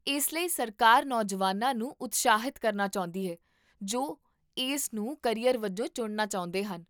ਇਸ ਲਈ ਸਰਕਾਰ ਨੌਜਵਾਨਾਂ ਨੂੰ ਉਤਸ਼ਾਹਿਤ ਕਰਨਾ ਚਾਹੁੰਦੀ ਹੈ ਜੋ ਇਸ ਨੂੰ ਕਰੀਅਰ ਵਜੋਂ ਚੁਣਨਾ ਚਾਹੁੰਦੇ ਹਨ